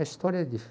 A história é